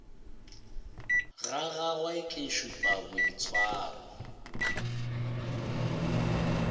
ga gagwe ke šupa boitshwaro